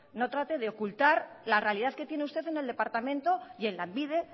no trate de ocultar la realidad que tiene usted en el departamento y en lanbide